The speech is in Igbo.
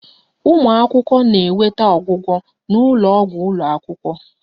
Ụmụ akwụkwọ na-enweta ọgwụgwọ n'ụlọ ọgwụ ụlọ akwụkwọ